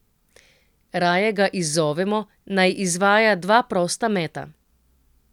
Raje ga izzovemo, naj izvaja dva prosta meta.